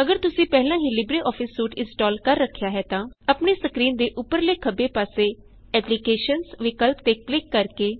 ਅਗਰ ਤੁਸੀ ਪਹਿਲਾ ਹੀ ਲਿਬਰੇਆਫਿਸ ਸੂਟ ਇਨਸਟੌਲ ਕਰ ਰਖਿਆ ਹੈ ਤਾਂ ਆਪਣੀ ਸਕਰੀਨ ਦੇ ਉਪਰਲੇ ਖੱਬੇ ਪਾਸੇ ਐਪਲੀਕੇਸ਼ਨਜ਼ ਵਿਕਲਪ ਤੇ ਕਲਿਕ ਕਰਕੇ